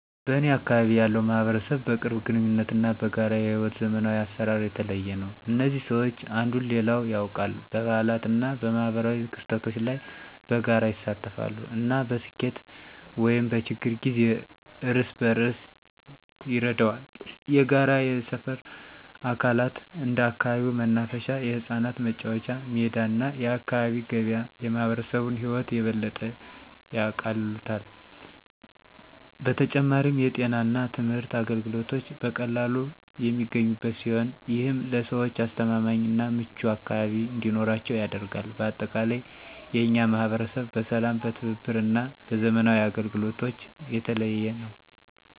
በእኔ አካባቢ ያለው ማህበረሰብ በቅርብ ግንኙነት እና በጋራ የሕይወት ዘመናዊ አሰራር የተለየ ነው። እዚህ ሰዎች አንዱን ሌላው ያውቃል፣ በበዓላት እና በማኅበራዊ ክስተቶች ላይ በጋራ ይሳተፋሉ፣ እና በስኬት ወይም በችግር ጊዜ እርስ በርስ ይረዳዋል። የጋራ የሰፈር አካላት እንደ አካባቢው መናፈሻ፣ የህጻናት መጫወቻ ሜዳ እና የአካባቢ ገበያ የማህበረሰቡን ህይወት የበለጠ ያቃልሉታል። በተጨማሪም፣ የጤና እና የትምህርት አገልግሎቶች በቀላሉ የሚገኙበት ሲሆን፣ ይህም ለሰዎች አስተማማኝ እና ምቹ አካባቢ እንዲኖራቸው ያደርጋል። በአጠቃላይ፣ የእኛ ማህበረሰብ በሰላም፣ በትብብር እና በዘመናዊ አገልግሎቶች የተለየ ነው።